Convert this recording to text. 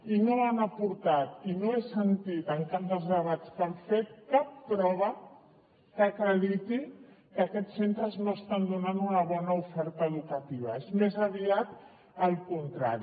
i no han aportat i no ho he sentit en cap dels debats que han fet cap prova que acrediti que aquests centres no estan donant una bona oferta educativa és més aviat al contrari